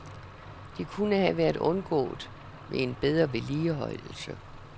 De kunne have været undgået ved en bedre vedligeholdelse.